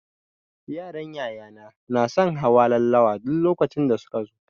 Yaran yaya na na son hawa laulawa duk lokacin da su ka zo.